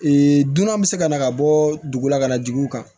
dunan bɛ se ka na ka bɔ dugu la ka na dugu kan